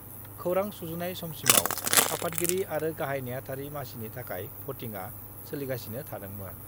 खौरां सुजुनाय समसिमाव आफादगिरि आरो गाहाइ नेहाथारि मासिनि थाखाय भटिंआ सोलिगासिनो थादोंमोन।